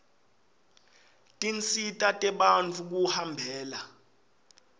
tinsita tebantfu kuhambela